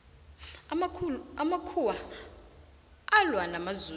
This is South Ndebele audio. amakhuwa alwa namazulu